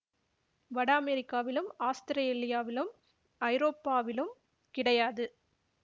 வட அமெரிகாவிலும் ஆஸ்திரேலியாவிலும் ஐரோப்பாவிலும் கிடையாது